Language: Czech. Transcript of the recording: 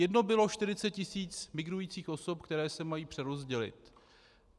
Jedno bylo 40 tis. migrujících osob, které se mají přerozdělit.